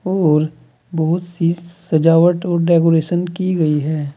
और बहुत सी सजावट और डेकोरेशन की गई है।